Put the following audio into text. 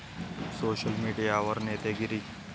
Social मीडियावर 'नेतेगिरी'!